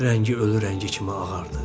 Rəngi ölü rəngi kimi ağardı.